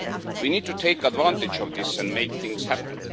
We need to take advantage of this and make things happen.